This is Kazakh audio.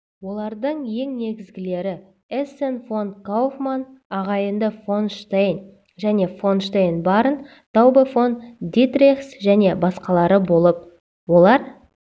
олардың ең негізгілері эссен фон кауфман ағайынды фонштейн және фонштейн барон таубе фон дитрихс және басқалары болып олар